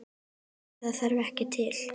En það þarf ekki til.